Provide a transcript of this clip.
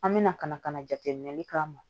An bɛna ka na ka na jateminɛli k'a ma